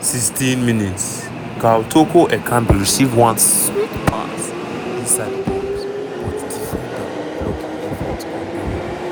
16 mins - karl toko ekambi receive one sweet pass inside di box but defender block im effort on goal.